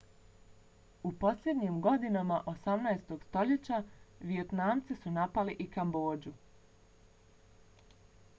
u posljednjim godinama 18. stoljeća vijetnamci su napali i kambodžu